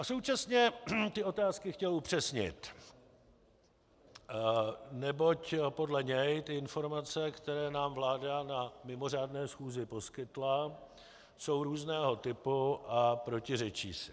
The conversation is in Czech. A současně ty otázky chtěl upřesnit, neboť podle něj ty informace, které nám vláda na mimořádné schůzi poskytla, jsou různého typu a protiřečí si.